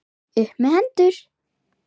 Upp með hendur!